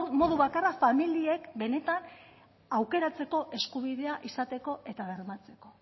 modu bakarra familiek benetan aukeratzeko eskubidea izateko eta bermatzeko